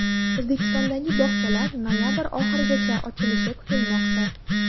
O‘zbekistondagi bog‘chalar noyabr oxirigacha ochilishi kutilmoqda.